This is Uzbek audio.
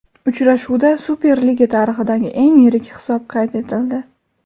Uchrashuvda Superliga tarixidagi eng yirik hisob qayd etildi.